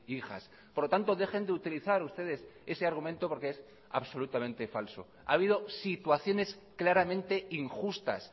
hijas por lo tanto dejen de utilizar ustedes ese argumento porque es absolutamente falso ha habido situaciones claramente injustas